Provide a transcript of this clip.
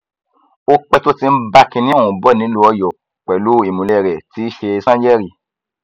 ó pẹ tó ti ń bá kinní ọhún bọ nílùú ọyọ pẹlú ìmùlẹ rẹ tí í ṣe sànyérí